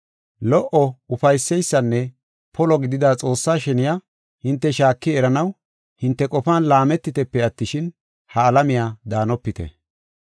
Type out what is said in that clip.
Lo77o, ufayseysanne polo gidida Xoossaa sheniya hinte shaaki eranaw hinte qofan laametitepe attishin, ha alamiya daanopite.